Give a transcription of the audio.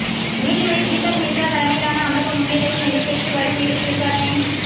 நீதிபதி தீபக் மிஸ்ரா தலைமையிலான அமர்வு முன்னிலையில் நடைபெற்று வரும் இறுதி விசாரணையின்